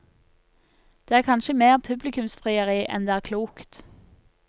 Det er kanskje mer publikumsfrieri enn det er klokt.